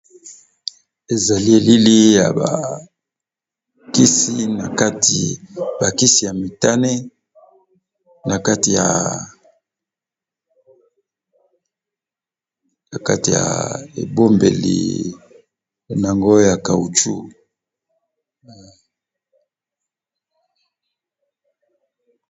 Ezali elili ya bakisi na kati ba kisi ya mitane na kati ya ebombeli nango ya caoutchu.